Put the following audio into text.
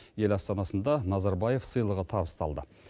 ел астанасында назарбаев сыйлығы табысталды